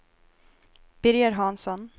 Birger Hansson